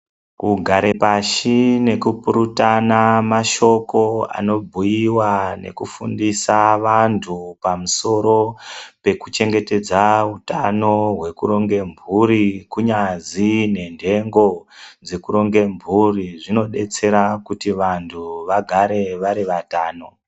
Kugare pashi nekukurutana mashoko anobhuyiwa nekufundisa vantu pamusoro pekuchengetedza utano hwekuronge mburi kunyazi nendengo dzekuronge mburi zvinodetsera kuti vantu vagare vari vatano.